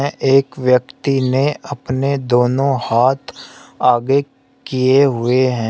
एक व्यक्ति ने अपने दोनों हाथ आगे किए हुए हैं।